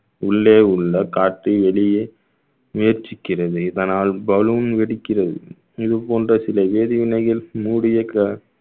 உள்ளே உள்ள காற்று வெளியே முயற்சிக்கிறது இதனால் பலூன் வெடிக்கிறது இது போன்ற சில வேதிவினைகள் மூடிய கா~